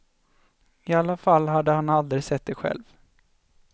I alla fall hade han aldrig sett det själv.